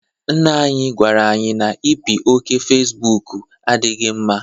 Nna anyị gwara anyị na ipi oké Fecibuuku adịghị mma.